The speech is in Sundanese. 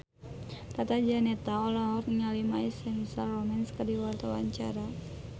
Tata Janeta olohok ningali My Chemical Romance keur diwawancara